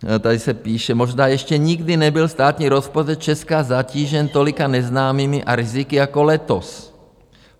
Tady se píše: Možná ještě nikdy nebyl státní rozpočet Česka zatížen tolika neznámými a riziky jako letos.